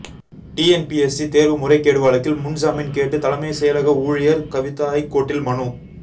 TNPSC தேர்வு முறைகேடு வழக்கில் முன்ஜாமீன் கேட்டு தலைமை செயலக ஊழியர் கவிதா ஐகோர்ட்டில் மனு